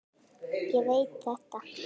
Ég veit þetta.